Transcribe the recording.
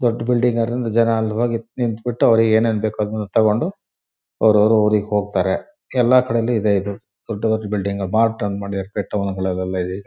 ಅದೊಂದು ದೊಡ್ಡ್ ಬಿಲ್ಡಿಂಗ್ ಅಲ್ಲಿ ಹೋಗಿ ನಿಂತ್ತ್ ಬಿಟ್ಟು ಅವ್ರಿಗ್ ಏನೇನ್ ಬೇಕ್ ಅದನ್ನ ತಕೊಂಡು ಅವ್ರವ್ರ್ ಊರಿಗೆ ಹೋಗ್ತಾರೆ ಎಲ್ಲ ಕಡೆನೂ ಇದೆ ಇದು ದೊಡ್ ದೊಡ್ ಬಿಲ್ಡಿಂಗ್